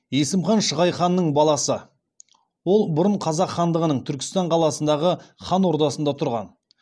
есім хан шығай ханның баласы ол бұрын қазақ хандығының түркістан қаласындағы хан ордасында тұрған